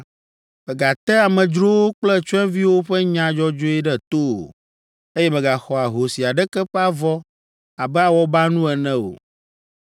“Mègate amedzrowo kple tsyɔ̃eviwo ƒe nya dzɔdzɔe ɖe to o, eye mègaxɔ ahosi aɖeke ƒe avɔ abe awɔbanu ene o.